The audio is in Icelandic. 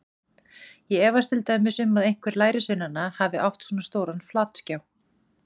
Ég efast til dæmis um að einhver lærisveinanna hafi átt svona stóran flatskjá.